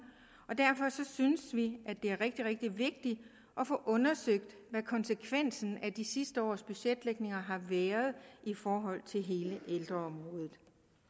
og derfor synes vi det er rigtig rigtig vigtigt at få undersøgt hvad konsekvensen af de sidste års budgetlægninger har været i forhold til hele ældreområdet